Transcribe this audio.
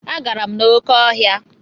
Agara m n'oké ọhịa.